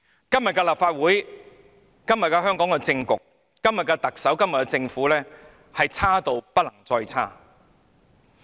今天的立法會、香港的政局、特首和政府已經差得不能再差。